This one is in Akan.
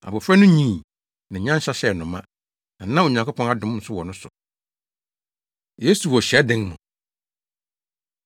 Abofra no nyinii, na nyansa hyɛɛ no ma, na na Onyankopɔn adom nso wɔ ne so. Yesu Wɔ Hyiadan Mu